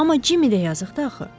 Amma Cimmi də yazıqdır axı.